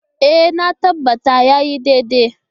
E, na tabbata ya yi daidai.